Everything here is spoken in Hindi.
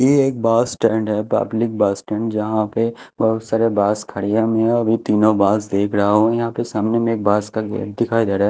ये एक बस स्टैंड है पब्लिक बस स्टैंड यहां पे बहुत सारे बस खड़ी हैं मैं अभी तीनों बस देख रहा हूं यहां पे सामने में एक बस का गेट दिखाई दे रहा है।